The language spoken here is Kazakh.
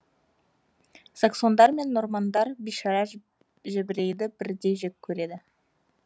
саксондар мен нормандар бишара жебірейді бірдей жек көреді